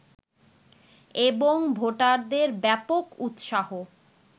এবং ভোটারদের ব্যাপক উৎসাহ